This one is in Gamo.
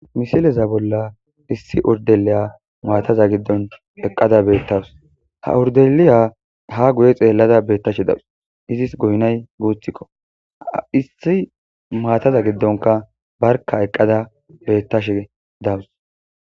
misileza bolla issi urdeliya maataza giddon eqqada beettawus ha urdeliya ha guye xeellada beettashe dawus izis goynay guuthikkoissi maataza giddonka barka eqqada beettashe dawus